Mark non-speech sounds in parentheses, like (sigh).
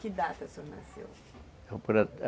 Que data o senhor nasceu? (unintelligible)